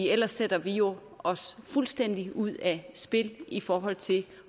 ellers sætter vi jo os fuldstændig ud af spil i forhold til